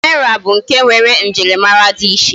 Naira bu nke nwere njirimara di iche